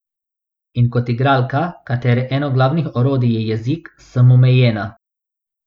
In kot igralka, katere eno glavnih orodij je jezik, sem omejena.